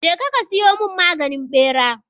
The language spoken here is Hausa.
Je ka siyo mun maganin ɓera!